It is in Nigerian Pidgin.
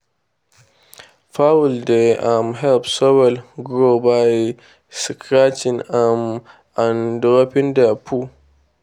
fowl dey um help soil grow by scratching um and dropping their poo.